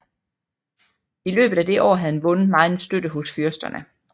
I løbet af det år havde han vundet megen støtte hos fyrsterne